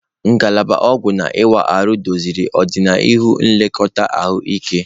Ngalaba ọgwụ na ịwa ahụ doziri ọdịnihu nlekọta ahụike.